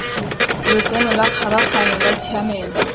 lotseno la kgabaganyo la tshiamelo